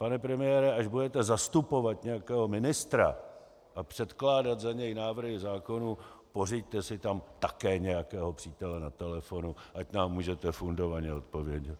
Pane premiére, až budete zastupovat nějakého ministra a předkládat za něj návrhy zákonů, pořiďte si tam také nějakého přítele na telefonu, ať nám můžete fundovaně odpovědět.